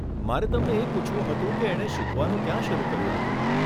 મારે તમને એ પૂછવું હતું કે એમણે શીખવાનું ક્યાં શરુ કર્યું હતું?